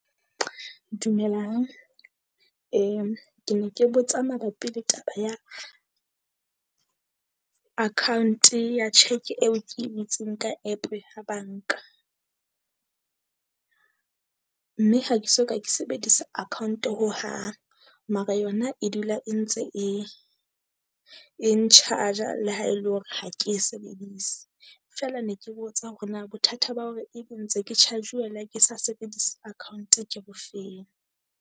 Dumelang, ee ke ne ke botsa mabapi le taba ya account-e ya cheque eo ke e butseng ka App ya banka? Mme ha ke soka ke sebedisa account hohang, mara yona e dula e ntse e, e n-charge-a Le ha e le hore ha ke e sebedise. Feela ne ke botsa hore na bothata ba hore e be ntse ke charge-uwa ie ha ke sa sebedise account ke bofeng?